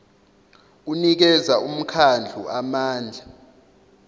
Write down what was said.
unikeza umkhandlu amandla